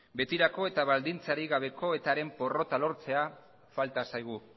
betirako eta baldintzarik gabeko eta haren porrota lortzea falta zaigu